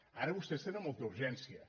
ara vostès tenen molta urgència